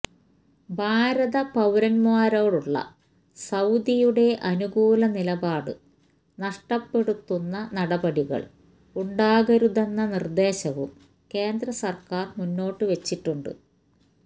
ഭാരത പൌരന്മാരോടുള്ള സൌദിയുടെ അനുകൂല നിലപാട് നഷ്ടപ്പെടുത്തുന്ന നടപടികള് ഉണ്ടാകരുതെന്ന നിര്ദ്ദേശവും കേന്ദ്രസര്ക്കാര് മുന്നോട്ടുവെച്ചിട്ടുണ്ട്